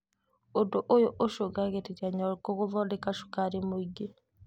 ũndũ ũyũ ũcũngagĩrĩria nyongo gũthondeka cukari mũingĩ